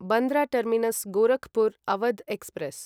Bandra terminus Gorakhpur Awadh express